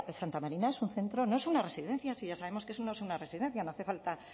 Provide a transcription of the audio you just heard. santa marina es un centro no es una residencia ya sabemos que no es una residencia no hace falta